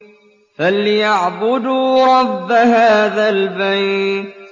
فَلْيَعْبُدُوا رَبَّ هَٰذَا الْبَيْتِ